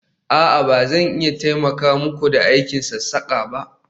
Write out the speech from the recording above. a'a, ba zan iya taimaka muku da aikin sassaka ba